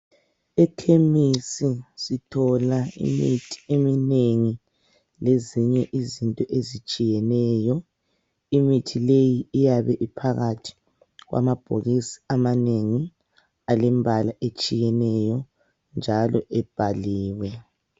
Ekhemisi sithola imithi eminengi lezinye izinto ezitshiyeneyo imithi leyi iyabe iphakathi kwamabhokisi amanengi alembala etshiyeneyo njalo ebhaliwe.